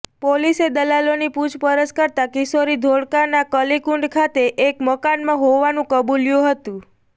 પોલીસે દલાલોની પૂછપરછ કરતા કિશોરી ધોળકાના કલીકુંડ ખાતે એક મકાનમાં હોવાનું કબુલ્યું હતું